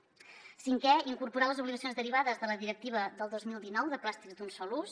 cinquè incorporar les obligacions derivades de la directiva del dos mil dinou de plàstics d’un sol ús